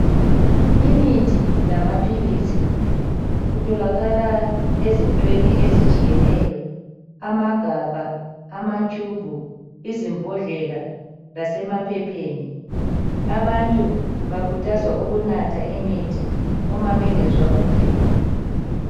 Imithi lamaphilisi kutholakala ezintweni ezitshiyeneyo, amagabha, amatshubhu, izimbodlela lasemaphepheni. Abantu bakhuthazwa ukunatha imithi Uma bengezwa kuhle.